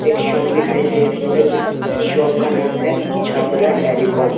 एक शॉप दिखाई दे रही है जी शॉप का नाम है छबरा टेलीकॉम --